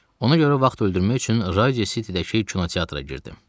Ona görə vaxt öldürmək üçün Radio Citydəki kinoteatra girdim.